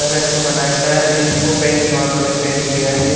घर अच्छा बना है शायद इंडिगो पेंट्स वालों ने पेंट किया है ये--